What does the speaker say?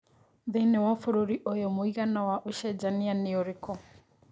thĩni wa bũrũri ũyũ mũigana wa ũcejania nĩ ũrikũ